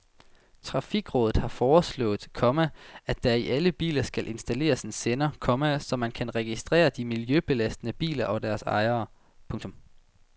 Trafikrådet har foreslået, komma at der i alle biler skal installeres en sender, komma så man kan registrere de miljøbelastende biler og deres ejere. punktum